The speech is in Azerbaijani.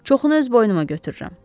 Çoxunu öz boynuma götürürəm.